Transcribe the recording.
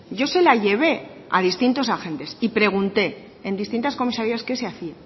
yo se la llevé a distintos agentes y pregunté en distintas comisarías qué se hacía